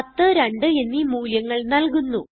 10 2 എന്നീ മൂല്യങ്ങൾ നല്കുന്നു